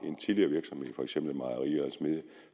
en tidligere virksomhed